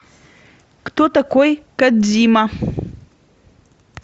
кто такой кодзима